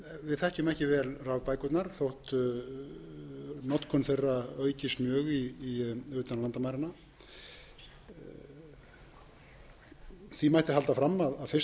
þekkjum ekki vel rafbækurnar þótt notkun þeirra aukist mjög utan landamæranna því mætti halda fram að fyrsta rafbókin hafi þó verið gefin út fyrir